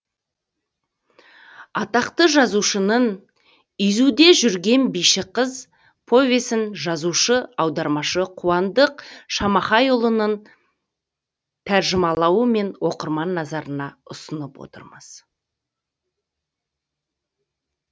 атақты жазушының изүде жүрген биші қыз повесін жазушы аудармашы қуандық шамахайұлының тәржімалауымен оқырман назарына ұсынып отырмыз